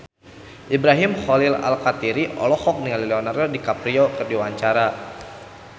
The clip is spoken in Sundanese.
Ibrahim Khalil Alkatiri olohok ningali Leonardo DiCaprio keur diwawancara